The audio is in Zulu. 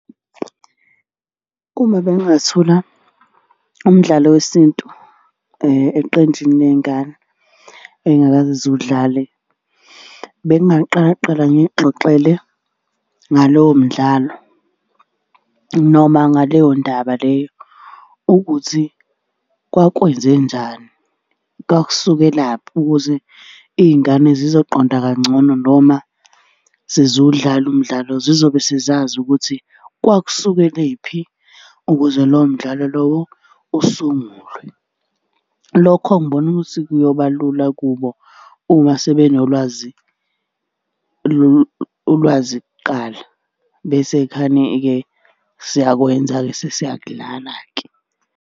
Uma bengingathola umdlalo wesintu eqenjini ley'ngane ey'ngakaze ziwudlale, bengingaqala kuqala ngiy'xoxele ngalowo mdlalo noma ngaleyo ndaba leyo, ukuthi kwakwenzenjani. Kwakusukelaphi, ukuze iy'ngane zizoqonda kangcono noma seziwudlala umdlalo zizobe sezazi ukuthi kwakusukelephi ukuze lowo mdlalo lowo usungulwe. Lokho ngibona ukuthi kuyoba lula kubo uma sebenolwazi ulwazi kuqala. Bese khane-ke siyakwenza-ke sesiyakudlala-ke.